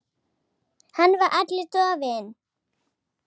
Hann var allur dofinn.